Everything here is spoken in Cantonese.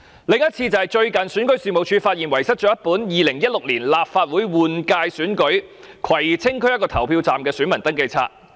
另一次則是最近選舉事務處發現遺失一本有關2016年立法會換屆選舉，葵青區內的一個投票站的選民登記冊。